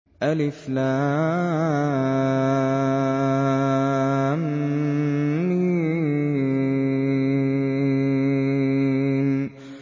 الم